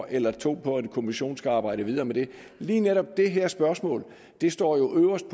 eller to år på at en kommission skal arbejde videre med det lige netop det her spørgsmål står jo øverst